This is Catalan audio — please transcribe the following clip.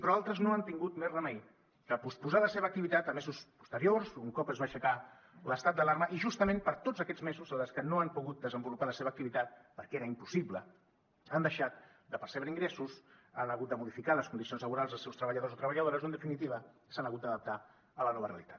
però altres no han tingut més remei que posposar la seva activitat a mesos posteriors un cop es va aixecar l’estat d’alarma i justament per tots aquests mesos les que no han pogut desenvolupar la seva activitat perquè era impossible han deixat de percebre ingressos han hagut de modificar les condicions laborals dels seus treballadors i treballadores o en definitiva s’han hagut d’adaptar a la nova realitat